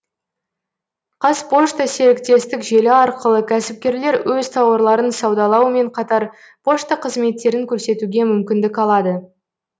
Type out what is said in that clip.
қазпошта серіктестік желі арқылы кәсіпкерлер өз тауарларын саудалаумен қатар пошта қызметтерін көрсетуге мүмкіндік алады